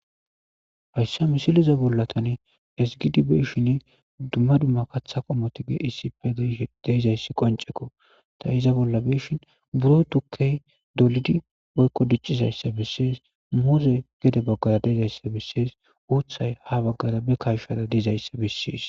hayssa misiliza bolla sgidibeshin dumma dumma katha qommoti geissipe deezayssi qoncekko ta iza bolla beshin buro tukkey dolidi boykko diccizayssa bessees mouze gede baggara deezayssa bessees uuthay ha baggara be karshara diizayssa bissees